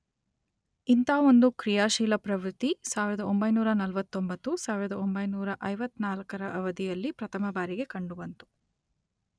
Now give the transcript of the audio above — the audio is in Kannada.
ಇಂಥ ಒಂದು ಕ್ರಿಯಾಶೀಲ ಪ್ರವೃತ್ತಿ ಸಾವಿರದ ಒಂಬೈನೂರ ನಲ್ವತ್ತೊಂಬತ್ತು, ಸಾವಿರದ ಒಂಬೈನೂರ ಐವತ್ತನಾಲ್ಕರ ಅವಧಿಯಲ್ಲಿ ಪ್ರಥಮ ಬಾರಿಗೆ ಕಂಡುಬಂತು.